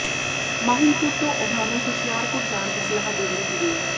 ਮਾਹਿਲਪੁਰ ਤੋਂ ਉਨ੍ਹਾਂ ਨੂੰ ਹੁਸ਼ਿਆਰਪੁਰ ਜਾਣ ਦੀ ਸਲਾਹ ਦੇ ਦਿੱਤੀ ਗਈ